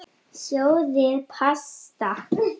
Sjóðið pasta.